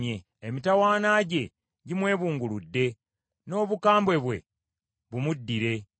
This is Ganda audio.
Emitawaana gye gimwebunguludde; n’obukambwe bwe bumuddire.